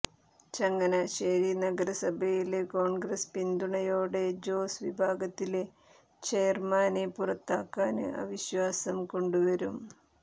ചങ്ങനാശേരി നഗരസഭയില് കോണ്ഗ്രസ് പിന്തുണയോടെ ജോസ് വിഭാഗത്തിലെ ചെയര്മാനെ പുറത്താക്കാന് അവിശ്വാസം കൊണ്ടുവരും